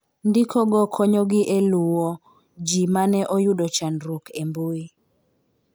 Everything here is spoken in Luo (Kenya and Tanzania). Ndikogo konyogi e luwo ji mane oyudo chandruok e mbuyi.